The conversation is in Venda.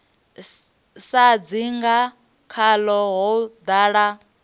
sa dzinga khaḽo ho ḓala